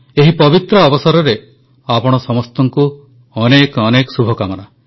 ଏହି ପବିତ୍ର ଅବସରରେ ଆପଣ ସମସ୍ତଙ୍କୁ ଅନେକ ଅନେକ ଶୁଭକାମନା